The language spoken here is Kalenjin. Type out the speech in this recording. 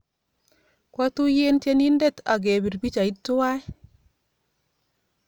Kwatuyen tyenindet akepir pichaiyat twai